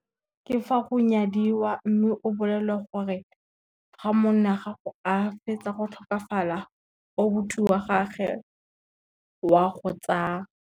Ke fa go nyadiwa mme o bolelelwa gore, ga monna gago a fetsa go tlhokafala obuti wa gage wa go tsaa.